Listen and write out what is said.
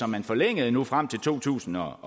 man forlængede nu frem til to tusind og